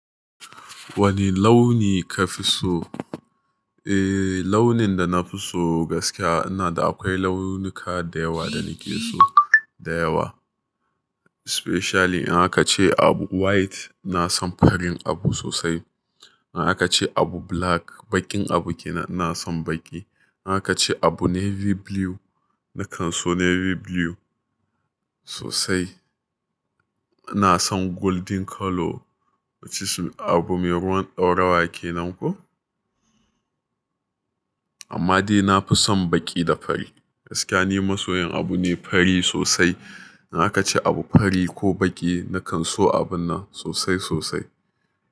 Wani launi ka fi so? Eh launin da na fi so gaskiya ina da akwai launuka da yawa da nike so da yawa. Especially in aka ce abu white na son farin abu sosai. In aka ce abu black baƙin abu ke na nan son baƙi. In aka ce abu navy blue nakan so navy blue sosai. Ina son golden color wacce su abu mai ruwan ɗaurawa kenan ko. Amma dai na fi son baƙi da fari. Gaskiya ni masoyan abu ne fari sosai. In aka ce abu fari ko baƙi nakan so abun nan sosai sosai.